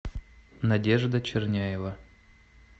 надежда черняева